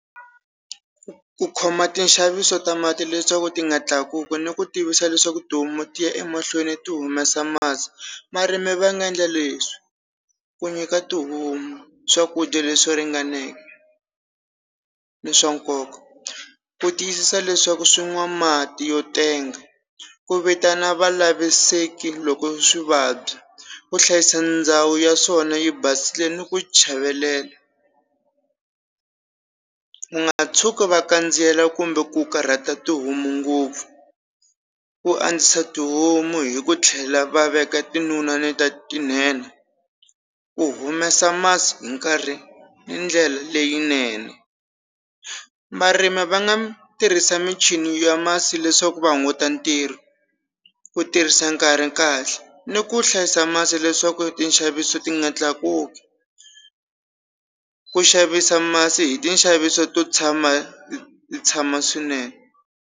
Ku ku khoma ti nxaviso ta mati leswaku ti nga tlakuki ni ku tivisa leswaku tihomu ti ya emahlweni ti humesa masi marimi va nga endla leswi ku nyika tihomu swakudya leswi ringaneke ni swa nkoka ku tiyisisa leswaku swi nwa mati yo tenga ku vitana va laviseki loko swi vabya ku hlayisa ndhawu ya swona yi basile ni ku chavelela ku nga tshuki va kandziela kumbe ku karhata tihomu ngopfu ku andzisa tihomu hi ku tlhela va veka ta tinene ku humesa masi hi nkarhi ndlela leyinene marimi va nga tirhisa michini ya masi leswaku va hunguta ntirho ku tirhisa nkarhi kahle ni ku hlayisa masi leswaku tinxaviso ti nga tlakuki ku xavisa masi hi tinxaviso to tshama tshama swinene.